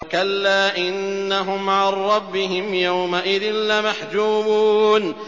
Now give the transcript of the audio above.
كَلَّا إِنَّهُمْ عَن رَّبِّهِمْ يَوْمَئِذٍ لَّمَحْجُوبُونَ